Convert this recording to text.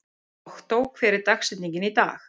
Októ, hver er dagsetningin í dag?